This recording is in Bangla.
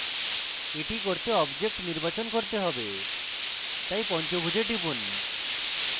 এটি করতে একটি object নির্বাচন করতে হবে তাই পঞ্চভূজে টিপুন